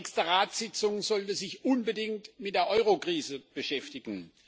Die nächste Ratssitzung sollte sich unbedingt mit der Eurokrise beschäftigen.